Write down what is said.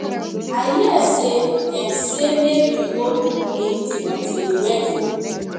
i hear say dem say make we no do anything until the wedding